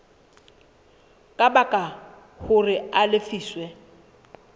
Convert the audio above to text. ka baka hore a lefiswe